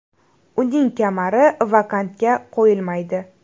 Uning kamari vakantga qo‘yilmaydi.